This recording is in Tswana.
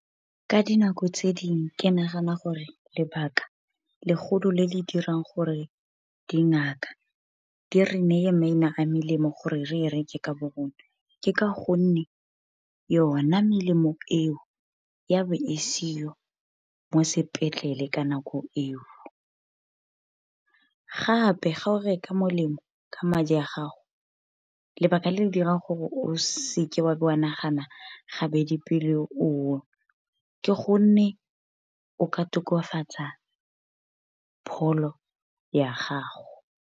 Ka dinako tse dingwe ke nagana gore lebaka, legolo le le dirang gore dingaka di re naye maina a melemo gore re e reke ka bo bone. Ke ka gonne yona melemo eo, ya be e seo mo sepetlele ka nako eo. Gape ga o reka molemo ka madi a gago lebaka le le dirang gore o seke wa be wa nagana gabedi pele o o nwa, ke gonne o ka tokafatsa pholo ya gago.